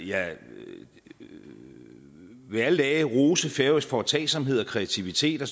jeg vil alle dage rose færøsk foretagsomhed og kreativitet og